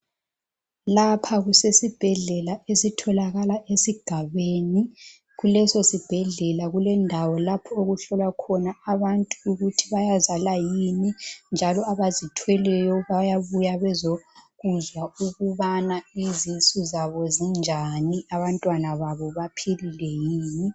Lapha kusesibhedlela esitholakala esigabeni, kuleso sibhedlela kulendawo lapho okuhlolwa khona abantu ukuthi bayazala yini, njalo abazithweleyo bayabuya bezokuzwa ukubana izisu zabo zinjani abantwana babo baphilile yini.